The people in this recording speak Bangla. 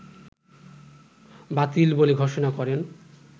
বাতিল বলে ঘোষণা করেন